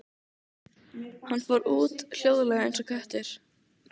Hann fór út, hljóðlega eins og köttur.